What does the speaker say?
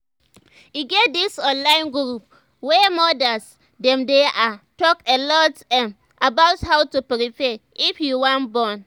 e get this online group wey modas them dey ah talk alot ehm about how to prepare if you wan born